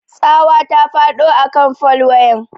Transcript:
Tsawa ta faɗo a kan fol wayan.